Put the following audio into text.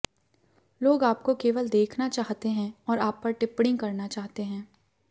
लोग आपको केवल देखना चाहते हैं और आप पर टिप्पणी करना चाहते हैं